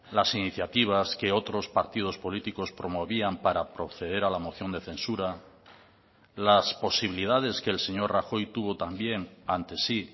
las iniciativas que otros partidos políticos promovían para proceder a la moción de censura las posibilidades que el señor rajoy tuvo también ante sí